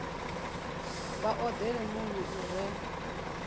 vha odele muno u re